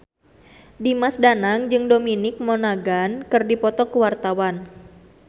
Dimas Danang jeung Dominic Monaghan keur dipoto ku wartawan